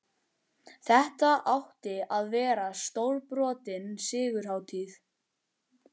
Þetta átti að verða stórbrotin sigurhátíð!